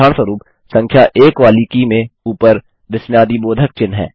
उदाहरणस्वरुप संख्या 1 वाली की में ऊपर विस्मयादिबोधक चिह्न है